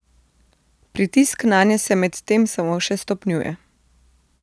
Pritisk nanje se medtem samo še stopnjuje.